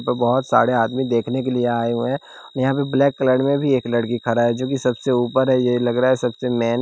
बहोत सारे आदमी देखने के लिए आए हुए हैं यहां पे ब्लैक कलर में भी एक लड़की खरा है जोकि सबसे ऊपर है ये लग रहा है सबसे मेन --